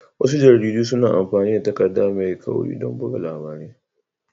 Wasu jaridu suna amfani da takarda mai kauri don buga labarai